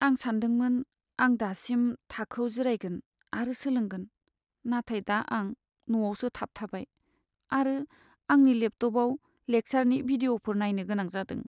आं सानदोंमोन आं दासिम थाखोयाव जिरायगोन आरो सोलोंगोन, नाथाय दा आं न'आवसो थाबथाबाय आरो आंनि लेपटपआव लेकचारनि भिडिअ'फोर नायनो गोनां जादों।